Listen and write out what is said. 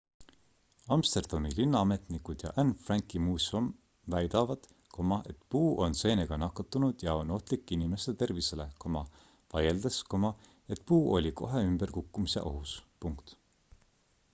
amsterdami linnaametnikud ja anne franki muuseum väidavad et puu on seenega nakatunud ja on ohtlik inimeste tervisele vaieldes et puu oli kohe ümber kukkumise ohus